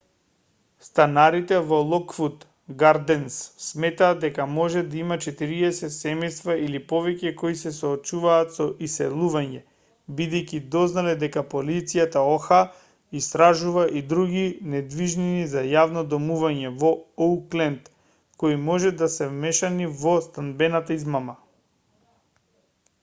станарите во локвуд гарденс сметаат дека може да има 40 семејства или повеќе кои се соочуваат со иселување бидејќи дознале дека полицијата оха истражува и други недвижнини за јавно домување во оукленд кои може да се вмешани во станбената измама